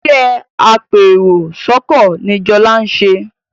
Iṣé apẹ èrò sóko ní Jola nṣe.